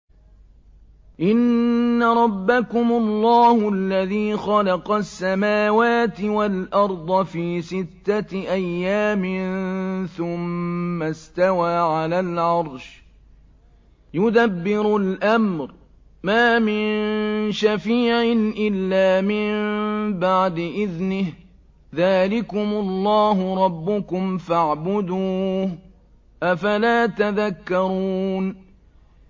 إِنَّ رَبَّكُمُ اللَّهُ الَّذِي خَلَقَ السَّمَاوَاتِ وَالْأَرْضَ فِي سِتَّةِ أَيَّامٍ ثُمَّ اسْتَوَىٰ عَلَى الْعَرْشِ ۖ يُدَبِّرُ الْأَمْرَ ۖ مَا مِن شَفِيعٍ إِلَّا مِن بَعْدِ إِذْنِهِ ۚ ذَٰلِكُمُ اللَّهُ رَبُّكُمْ فَاعْبُدُوهُ ۚ أَفَلَا تَذَكَّرُونَ